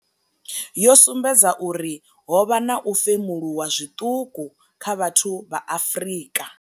Yo sumbedza uri ho vha na u femuluwa zwiṱuku kha vhathu vha Afrika.